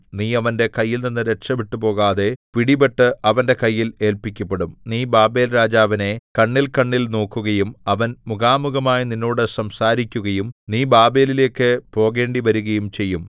നീ അവന്റെ കൈയിൽനിന്ന് രക്ഷപെട്ടുപോകാതെ പിടിപെട്ട് അവന്റെ കയ്യിൽ ഏല്പിക്കപ്പെടും നീ ബാബേൽരാജാവിനെ കണ്ണിൽകണ്ണിൽ നോക്കുകയും അവൻ മുഖാമുഖമായി നിന്നോട് സംസാരിക്കുകയും നീ ബാബേലിലേക്ക് പോകേണ്ടിവരുകയും ചെയ്യും